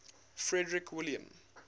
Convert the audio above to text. frederick william